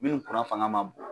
Minnu kuran fanga man bon.